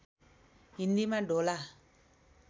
हिन्दीमा ढोला